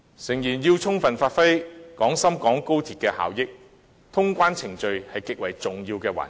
誠然，要充分發揮廣深港高鐵的效益，通關程序是極為重要的環節。